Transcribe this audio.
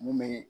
Mun bɛ